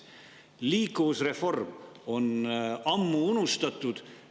Liikuvusreform on ammu unustatud.